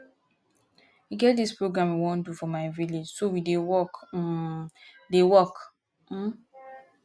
e get dis program we wan do for my village so we dey work um dey work um